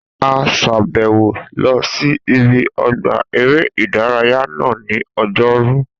A sàbẹ̀wò lọ sí ibi ọgbà eré ìdárayá náà ní ọjọ́rú